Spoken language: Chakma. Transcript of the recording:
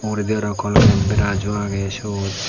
uguredi aro kolgate brusjo aagey siot.